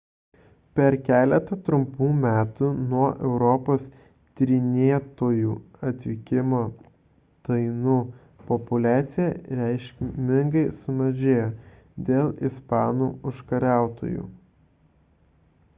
per keletą trumpų metų nuo europos tyrinėtojų atvykimo tainų populiacija reikšmingai sumažėjo dėl ispanų užkariautojų